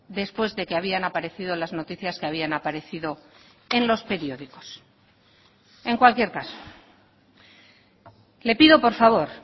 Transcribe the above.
después de que habían aparecido las noticias que habían aparecido en los periódicos en cualquier caso le pido por favor